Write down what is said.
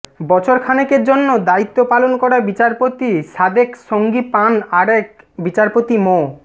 বছর খানেকের জন্য দায়িত্ব পালন করা বিচারপতি সাদেক সঙ্গী পান আরেক বিচারপতি মো